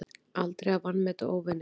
Aldrei að vanmeta óvininn.